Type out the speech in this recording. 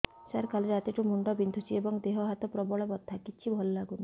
ସାର କାଲି ରାତିଠୁ ମୁଣ୍ଡ ବିନ୍ଧୁଛି ଏବଂ ଦେହ ହାତ ପ୍ରବଳ ବଥା କିଛି ଭଲ ଲାଗୁନି